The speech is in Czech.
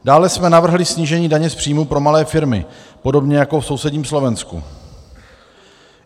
Dále jsme navrhli snížení daně z příjmů pro malé firmy, podobně jako v sousedním Slovensku.